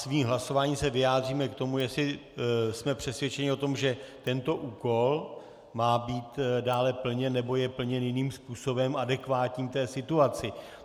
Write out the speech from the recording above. Svým hlasováním se vyjádříme k tomu, jestli jsme přesvědčeni o tom, že tento úkol má být dále plněn, nebo je plněn jiným způsobem, adekvátním té situaci.